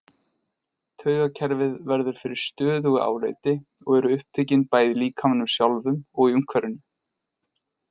Taugakerfið verður fyrir stöðugu áreiti og eru upptökin bæði í líkamanum sjálfum og í umhverfinu.